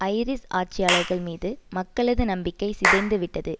iris ஆட்சியாளர்கள் மீது மக்களது நம்பிக்கை சிதைந்து விட்டது